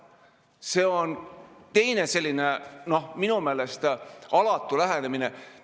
See on teine selline, noh, minu meelest alatu lähenemine.